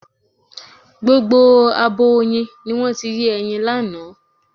Gbogbo abo oyin ni wọ́n ti yé ẹyin lánàá.